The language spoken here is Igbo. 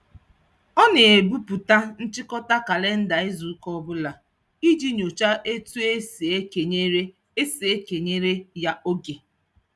Ọ na-ebupu nchịkọta kalịnda izuụka ọbụla iji nyochaa etu e si ekenyere e si ekenyere ya oge.